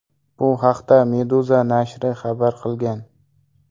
Bu haqda Meduza nashri xabar qilgan .